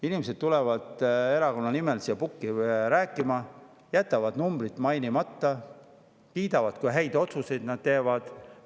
Inimesed tulevad erakonna nimel siia pukki rääkima ja jätavad numbrid mainimata, kuid kiidavad, kui häid otsuseid nad teevad.